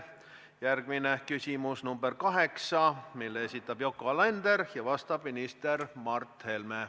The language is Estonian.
Järgmine küsimus, nr 8, mille esitab Yoko Alender ja millele vastab minister Mart Helme.